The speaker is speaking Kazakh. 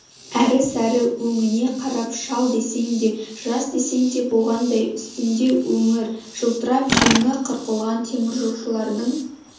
әрі-сәрі өңіне қарап шал десең де жас десең де болғандай үстінде өңір жылтырап жеңі қырқылған теміржолшылардың